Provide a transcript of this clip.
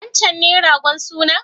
Wancen ne ragon sunan?